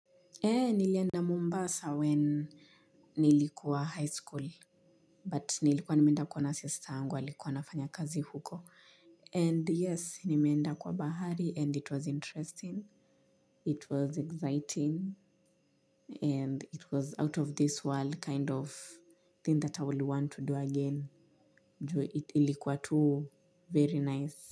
Nilienda mombasa when nilikuwa high school, but nilikuwa nimeenda kuona sistaangu, alikuwa anafanya kazi huko. And yes, nimeenda kwa bahari and it was interesting, it was exciting, and it was out of this world kind of thing that I would want to do again. Ilikuwa too, very nice.